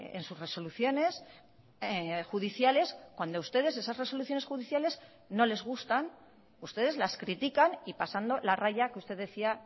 en sus resoluciones judiciales cuando ustedes esas resoluciones judiciales no les gustan ustedes las critican y pasando la raya que usted decía